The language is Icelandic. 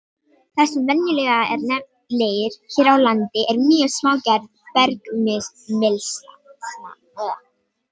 Það sem venjulega er nefnt leir hér á landi er mjög smágerð bergmylsna.